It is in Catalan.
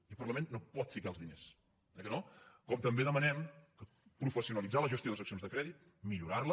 i el parlament no pot ficar els diners eh que no com també demanem professionalitzar la gestió de seccions de crèdit millorarla